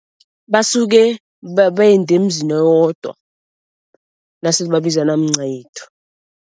Basuke bende emzini owodwa nasele babizana mncayethu.